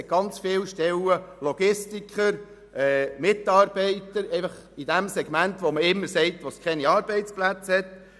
Es gibt ganz viele offene Stellen unter anderem für Logistiker, Mitarbeiter in jenem Segment, von welchem immer gesagt wird, es gebe dort keine Arbeitsplätze.